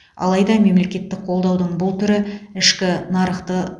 алайда мемлекеттік қолдаудың бұл түрі ішкі нарықты